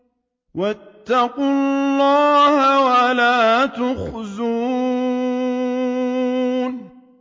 وَاتَّقُوا اللَّهَ وَلَا تُخْزُونِ